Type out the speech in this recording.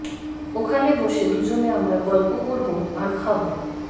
ওখানে বসে দুজনে আমরা গল্প করব আর খাব